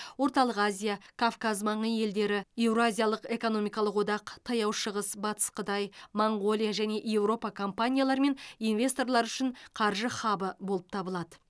орталық азия кавказ маңы елдері еуразиялық экономикалық одақ таяу шығыс батыс қытай моңғолия және еуропа компаниялары мен инвесторлары үшін қаржы хабы болып табылады